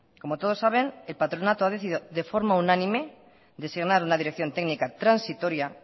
como todos saben el patronato ha decidido de forma unánime designar una dirección técnica transitoria